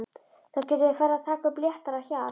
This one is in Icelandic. Þá getum við farið að taka upp léttara hjal!